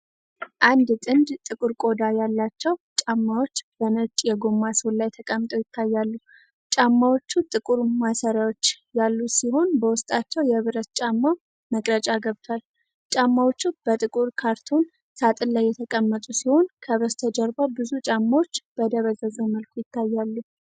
አንድ ጥንድ ጥቁር ቆዳ ያላቸው የPuma ጫማዎች በነጭ የጎማ ሶል ላይ ተቀምጠው ይታያሉ። ጫማዎቹ ጥቁር ማሰሪያዎች ያሉት ሲሆን፣ በውስጣቸው የብረት ጫማ መቅረጫ ገብቷል። ጫማዎቹ በጥቁር ካርቶን ሳጥን ላይ የተቀመጡ ሲሆን፣ ከበስተጀርባ ብዙ ጫማዎች በደበዘዘ መልኩ አሉ።